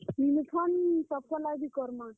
Uniform ସମସ୍ତଙ୍କର ଲାଗି ବି କର୍ ମା।